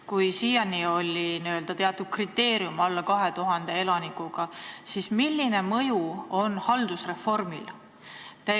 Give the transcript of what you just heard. Kui siiani oli n-ö teatud kriteerium, alla 2000 elaniku, siis milline mõju on haldusreformil?